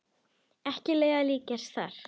Ekki leiðum að líkjast þar.